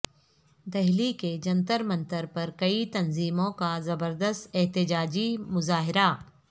دہلی کے جنتر منتر پر کئی تنظیموں کا زبردست احتجاجی مظاہرہ